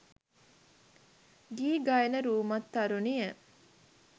ගී ගයන රූමත් තරුණිය